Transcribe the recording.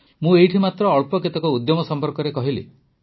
ମୁଁ ଏଇଠି ଅଳ୍ପ କେତେକ ଉଦ୍ୟମ ସମ୍ପର୍କରେ କହିଲି